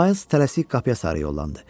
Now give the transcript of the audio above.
Ma tələsik qapıya sarı yollandı.